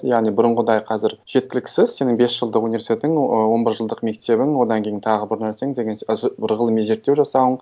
яғни бұрынғыдай қазір жеткіліксіз сенің бес жылдық университетің он бір жылдық мектебің одан кейін тағы бір нәрсең деген қазір бір ғылыми зерттеу жасауың